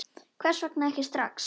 Hvers vegna ekki strax?